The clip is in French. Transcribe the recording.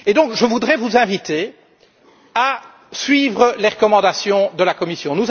Je voudrais vous inviter à suivre les recommandations de la Commission.